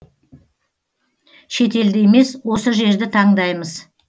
шетелді емес осы жерді таңдаймыз